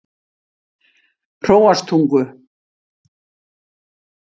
Hróarstungu